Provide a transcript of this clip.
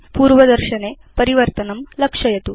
पूर्वदर्शनक्षेत्रे परिवर्तनं लक्षयतु